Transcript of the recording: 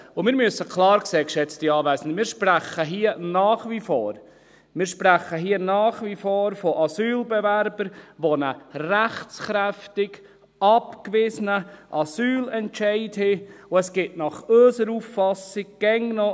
Und wir müssen klar sehen, geschätzte Anwesende, wir sprechen hier nach wie vor von Asylbewerbern, die einen rechtskräftig abgewiesenen Asylentscheid haben und es gibt nach unserer Auffassung immer noch …